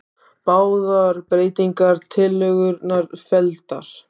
Báðar breytingartillögurnar felldar